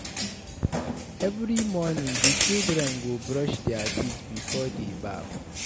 Every morning, di children go brush their teeth before dey baff.